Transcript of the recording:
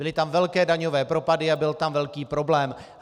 Byly tam velké daňové propady a byl tam velký problém.